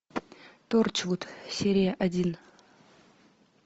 торчвуд серия один